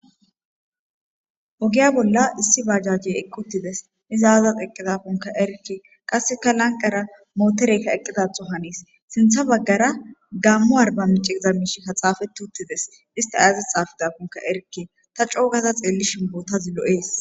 Ogiya bolla issi bajaje eqqutides iza azas eqqida konka erikki qasseka lanqara mootereykka eqqidatho haniis sintha baggara gammu arbamiceza mishi ka xaafetuttides ista aazas xaafidakonka erikke ta coogada xeellishin bootazi lo'ees